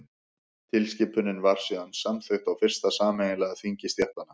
tilskipunin var síðan samþykkt á fyrsta sameiginlega þingi stéttanna